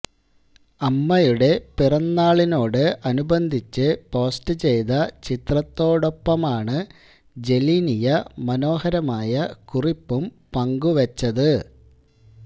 അമ്മയുടെ പിറന്നാളിനോട് അനുബന്ധിച്ച് പോസ്റ്റ് ചെയ്ത ചിത്രത്തോടൊപ്പമാണ് ജനീലിയ മനോഹരമായ കുറിപ്പും പങ്കുവച്ചത്